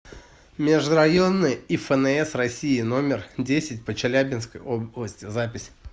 межрайонная ифнс россии номер десять по челябинской области запись